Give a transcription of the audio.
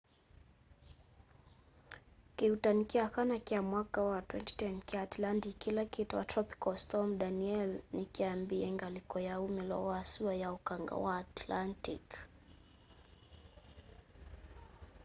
kĩuutani kya kana kya mwaka wa 2010 kya atlantic kila kitawa tropical storm danielle ni kyambiie ngaliko ya ũmilo wa sua ya ũkanga wa atlantic